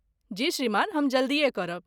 जी श्रीमान, हम जल्दीये करब।